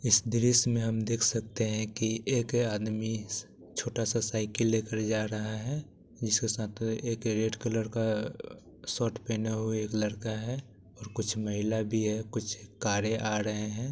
इस दृश्य मे हम देख सकते है की एक आदमी छोटा सा साइकल लेकर जा रहा है जिसका साथ एक रेड कलर का शर्ट पहना हुआ एक लड़का है और कुछ महिलाए भी है कुछ कारे आ रही है।